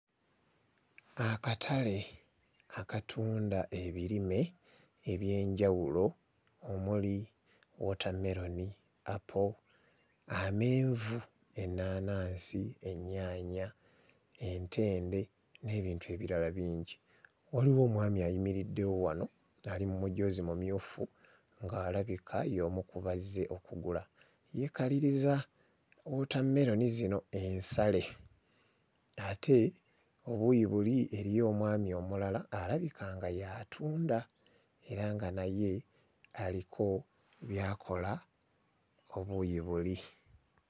Akatale akatunda ebirime eby'enjawulo omuli wootammeroni, apo, amenvu, ennaanansi, ennyaanya, entende n'ebintu ebirala bingi. Waliwo omwami ayimiriddewo wano ali mu mujoozi mumyufu ng'alabika y'omu ku bazze okugula, yeekaliriza wootammeroni zino ensale ate ebuuyi buli eriyo omwami omulala alabika nga ye atunda era nga naye aliko by'akola obuuyi buli.